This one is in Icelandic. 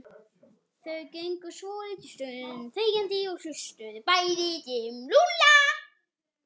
Þau gengu svolitla stund þegjandi og hugsuðu bæði um Lúlla.